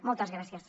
moltes gràcies